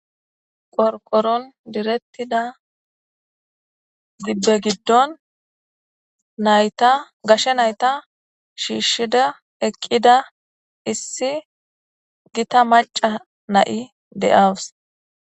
qorqoron direttida zibbe giddon nayta gashshe nayta shiishshida eqqida issi gita maca na7i de7awus